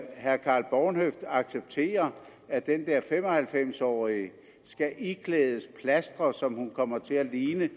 herre karl bornhøft acceptere at den der fem og halvfems årige skal iklædes plastre så hun kommer til at ligne